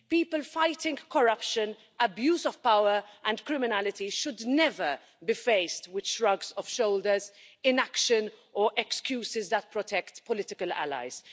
People fighting corruption, abuse of power and criminality should never be faced with shrugs of shoulders, inaction or excuses that protect political allies.